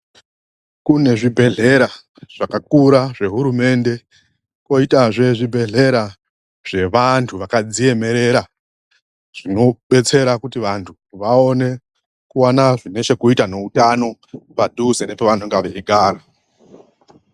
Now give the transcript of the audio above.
Kune zvibhehlera zvakakura zvehurumende, kwoitazve zvibhhlera zvevantu vakadziemera. Zvinobetsera kuti vantu vaone kuwana zvine chekuita neutano padhuze nepavanenge veigara.